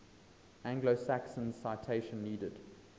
anglo saxons citation needed